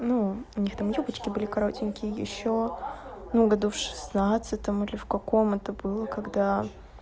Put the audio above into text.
ну у них там юбочки были коротенькие ещё ну в году шестнадцатом или в каком это было когда